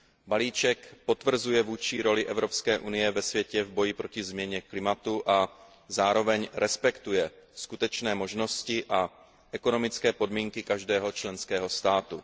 Balíček potvrzuje vůdčí roli Evropské unie ve světě v boji proti změně klimatu a zároveň respektuje skutečné možnosti a ekonomické podmínky každého členského státu.